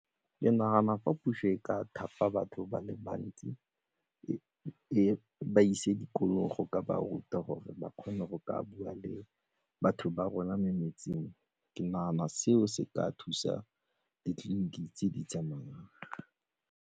Ke nagana fa puso e ka thapa batho ba le bantsi e ba ise dikolong go ka ba ruta gore ba kgone go ka bua le batho ba rona metseng, ke nagana seo se ka thusa ditleliniki tse di tsamayang.